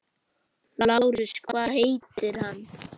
LÁRUS: Hvað heitir hann?